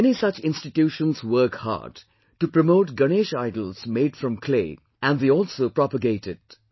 Many such institutions work hard to promote Ganesh idols made from clay and they also propagate it